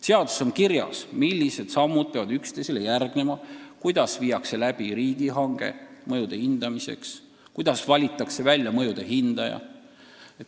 Seaduses on kirjas, millised sammud peavad üksteisele järgnema, kuidas viiakse läbi riigihange mõjude hindamiseks, kuidas valitakse välja mõjude hindaja.